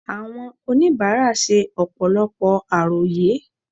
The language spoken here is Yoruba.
Àwọn oníbàárà ṣe ọ̀pọ̀lọpọ̀ àròyé